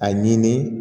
A ɲini